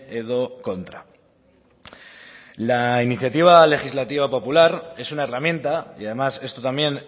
edo kontra la iniciativa legislativa popular es una herramienta y además esto también